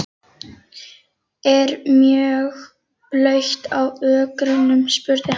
Er mjög blautt á ökrunum? spurði hann.